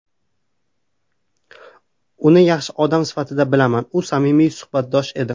Uni yaxshi odam sifatida bilaman, u samimiy suhbatdosh edi.